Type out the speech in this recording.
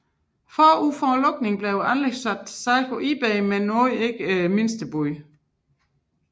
Forud for lukningen blev anlægget sat til salg på Ebay men uden at opnå det krævede mindstebud